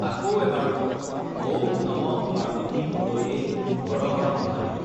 আকৌ এবাৰ কওক.ঔম নমঃ পাৰ্বতী পতয়ে, হৰ হৰ মহাদেৱ!